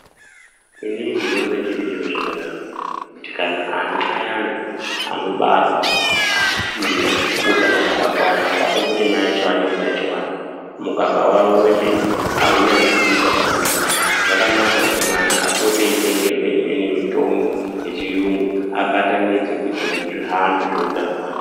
Inini ndinoona chiri chiro chakanaka, kuti kana ana ayana anobarwa asina utano hwakakwana, ngatimboti mai vacho vane utachiona, mukaka wavo wemene, awunasi kuyita pamwana, zvakanaka kuti mwana apote eyitengerwa emweni mitombo yechiyungu ,abatanidze kuyitira kuti zvihambe zveutano hwake.